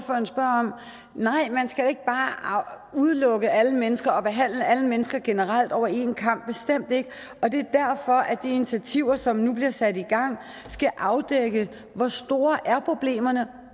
nej man skal ikke bare udelukke alle mennesker og behandle alle mennesker generelt over en kam bestemt ikke og det er derfor at de initiativer som nu bliver sat i gang skal afdække hvor store problemerne er